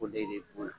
O de bɛ o la